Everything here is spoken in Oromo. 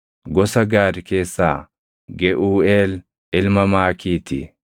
gosa Gaad keessaa Geʼuuʼeel ilma Maakii ti.